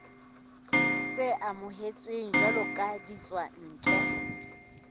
tse amohetsweng jwalo ka ditswantle